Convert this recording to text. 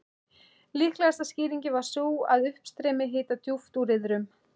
Líklegasta skýringin var sú, að uppstreymi hita djúpt úr iðrum